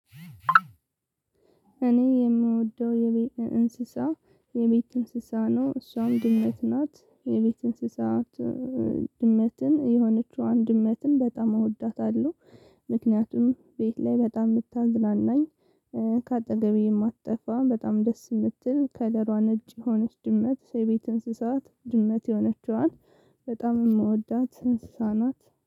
እኔ የምወደው የቤት እንስሳ የቤት እንስሳ ነው እሷም ድመት ናት የቤት እንስሳት። ድመትን የሆነችዋን ድመትን በጣም እወዳታለሁ። ምክንያቱም ቤት ላይ በጣም እምታዝናናኝ። ከአጠገቤ የማትጠፋ በጣም ደስ የምትል ከለሯ ነጭ የሆነች ድመት የቤት እንስሳት ድመት የሆነችዋን በጣም የምወዳት እንስሳ ናት